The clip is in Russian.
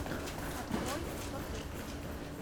открой кто ты